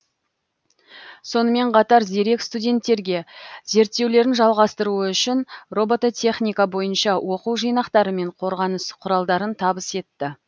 сонымен қатар зерек студенттерге зерттеулерін жалғастыруы үшін робототехника бойынша оқу жинақтары мен қорғаныс құралдарын табыс етті